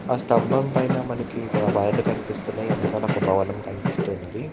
ఆ స్తంభం పైన మనకి కనిపిస్తున్న వెనకాల ఒక భవనం కనిపిస్తున్నది.